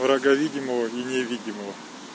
врага видимого и невидимого